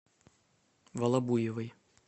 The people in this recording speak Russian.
волобуевой